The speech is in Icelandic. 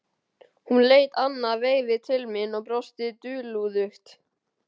Hún leit annað veifið til mín og brosti dulúðugt.